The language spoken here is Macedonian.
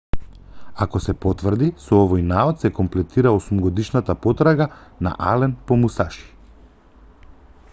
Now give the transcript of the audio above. ако се потврди со овој наод се комплетира осумгодишната потрага на ален по мусаши